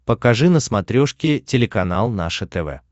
покажи на смотрешке телеканал наше тв